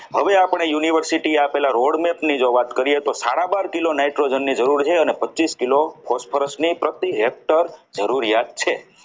હવે આપણે University આપેલા જે road map ની વાત કરીએ તો સદા બાર કિલો nitrogen ની જરૂર છે અને પચીસ કિલો phosphorus ની પ્રતિ હેક્ટર જરૂરિયાત છે.